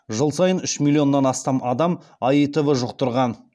жыл сайын үш миллионнан астам адам аитв жұқтырған